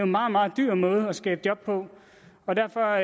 meget meget dyr måde at skabe job på og derfor